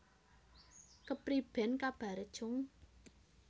Kepriben kabare cung